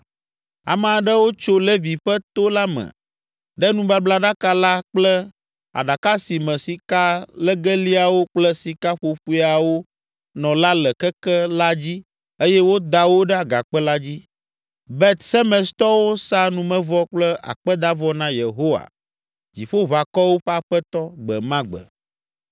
Ame aɖewo tso Levi ƒe to la me ɖe nubablaɖaka la kple aɖaka si me sikalegeliawo kple sikaƒoƒoeawo nɔ la le keke la dzi eye woda wo ɖe agakpe la dzi. Bet Semestɔwo sa numevɔ kple akpedavɔ na Yehowa, Dziƒoʋakɔwo ƒe Aƒetɔ, gbe ma gbe.